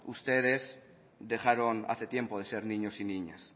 ustedes dejaron hace tiempo de ser niños y niñas